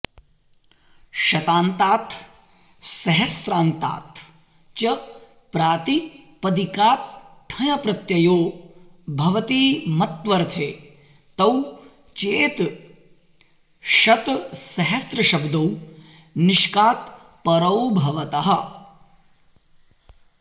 शतान्तात् सहस्रान्तात् च प्रातिपदिकात् ठञ् प्रत्ययो भवति मत्वर्थे तौ चेत् शतसहस्रशब्दौ निष्कात् परौ भवतः